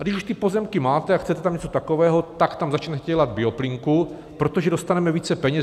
A když už ty pozemky máte a chcete tam něco takového, tak tam začněte dělat bioplynku, protože dostaneme více peněz.